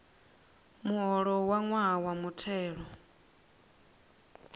muholo wa ṅwaha wa mutheli